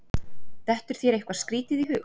dettur þér eitthvað skrítið í hug